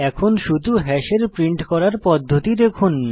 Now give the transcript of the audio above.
এখন শুধু হ্যাশের প্রিন্ট করার পদ্ধতি দেখুন